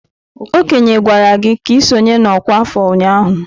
Okenye gwara gi ka i sonye na ọkwá afọ ụnyahụ?